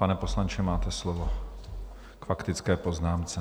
Pane poslanče, máte slovo k faktické poznámce.